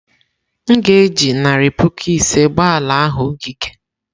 M ga-eji narị puku ise gbaa ala ahụ ogige.